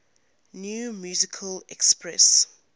new musical express